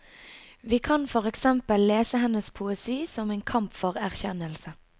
Vi kan for eksempel lese hennes poesi som en kamp for erkjennelse.